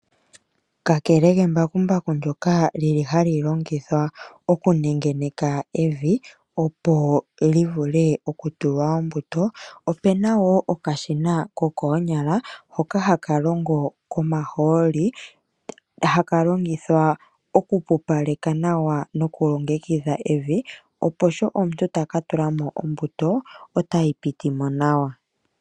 Kakele kembakumbaku ndyoka li li hali longithwa okunengeneka evi opo li vule okutulwa ombuto. Opena woo okashina ko koonyala hoka haka longo komahooli haka longithwa okupupaleka nawa nokulongekidha evi opo sho omuntu taka tula mo ombuto otayi piti mo nawa.